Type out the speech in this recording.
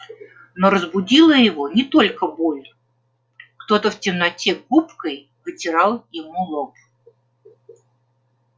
но разбудила его не только боль кто-то в темноте губкой вытирал ему лоб